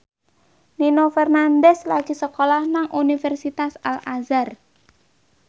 Nino Fernandez lagi sekolah nang Universitas Al Azhar